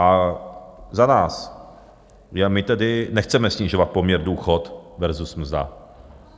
A za nás, my tedy nechceme snižovat poměr důchod versus mzda.